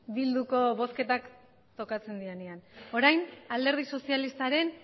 bilduko bozketak tokatzen direnean orain alderdi sozialistaren